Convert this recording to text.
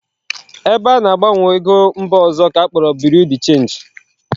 Ebe ana-agbanwe ego mba ọzọ ka akpọrọ Birui de chenji